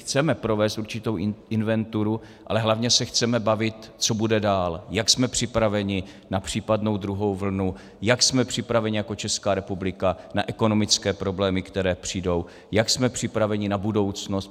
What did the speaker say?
Chceme provést určitou inventuru, ale hlavně se chceme bavit, co bude dál, jak jsme připraveni na případnou druhou vlnu, jak jsme připraveni jako Česká republika na ekonomické problémy, které přijdou, jak jsme připraveni na budoucnost.